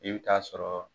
I bɛ taa sɔrɔ